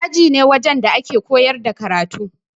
Aji ne wajen da ake koyar da karatu.